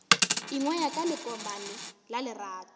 ingwaya ka lekomane la lerato